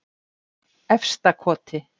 Efstakoti